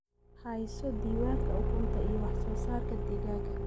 Hayso diiwaanka ukunta iyo wax soo saarka digaaga.